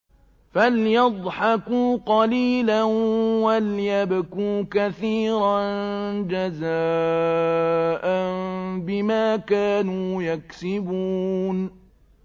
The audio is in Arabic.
فَلْيَضْحَكُوا قَلِيلًا وَلْيَبْكُوا كَثِيرًا جَزَاءً بِمَا كَانُوا يَكْسِبُونَ